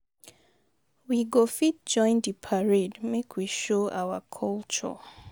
We go fit join di parade, make we show our culture.